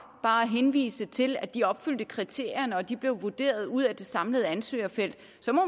bare at henvise til at de opfyldte kriterierne og at de blev vurderet ud af det samlede ansøgerfelt